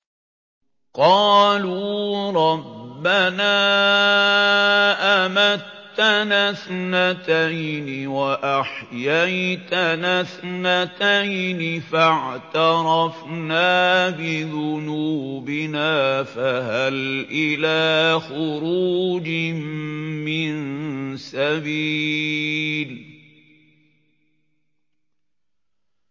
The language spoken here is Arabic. قَالُوا رَبَّنَا أَمَتَّنَا اثْنَتَيْنِ وَأَحْيَيْتَنَا اثْنَتَيْنِ فَاعْتَرَفْنَا بِذُنُوبِنَا فَهَلْ إِلَىٰ خُرُوجٍ مِّن سَبِيلٍ